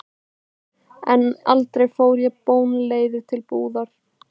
En aldrei fór ég bónleiður til búðar.